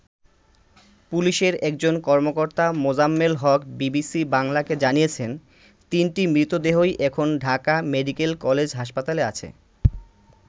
পুলিশের একজন কর্মকর্তা মোজাম্মেল হক বিবিসি বাংলাকে জানিয়েছেন, তিনটি মৃতদেহই এখন ঢাকা মেডিক্যাল কলেজ হাসপাতালে আছে।